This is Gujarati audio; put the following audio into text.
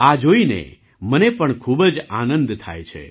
આ જોઈને મને પણ ખૂબ જ આનંદ થાય છે